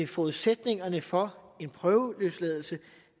forudsætningerne for en prøveløsladelse